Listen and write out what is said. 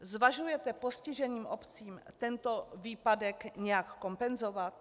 Zvažujete postiženým obcím tento výpadek nějak kompenzovat?